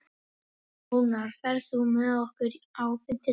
Ónarr, ferð þú með okkur á fimmtudaginn?